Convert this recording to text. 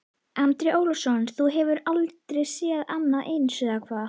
Andri Ólafsson: Þú hefur aldrei séð annað eins, eða hvað?